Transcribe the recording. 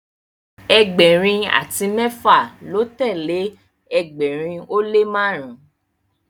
ẹgbẹrin ati mẹfa lọ telee ẹgbẹrin o le marun.